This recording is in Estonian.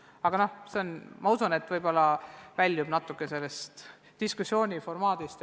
Aga see, ma usun, väljub praeguse diskussiooni temaatikast.